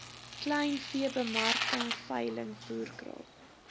kleinveebemarking veilings voerkraal